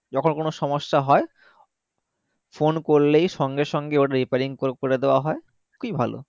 যখন কোনো সমস্যা হয় phone করলেই সঙ্গে সঙ্গে ওর repairing করকরে দেওয়া হয় খুবই ভালো